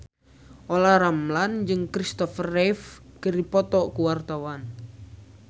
Olla Ramlan jeung Kristopher Reeve keur dipoto ku wartawan